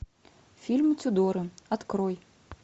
фильм тюдоры открой